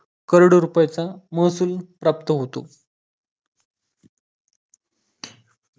करोडो रुपयाचा महसूल प्राप्त होतो.